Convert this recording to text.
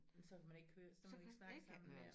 Så kan man ikke høre så kan man ikke snakke sammen mere